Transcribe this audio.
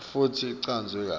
futsi ichazwe kahle